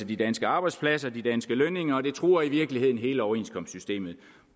de danske arbejdspladser de danske lønninger og det truer i virkeligheden hele overenskomstsystemet